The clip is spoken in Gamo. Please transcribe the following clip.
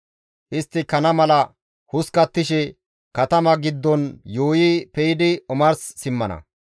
Istti kana mala hoskkattishe katama giddon yuuyi pe7idi omars simmana.